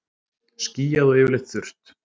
Skýjað og yfirleitt þurrt